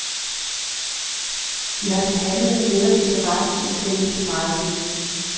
De har som handlende netop interesse i at sælge så meget som muligt.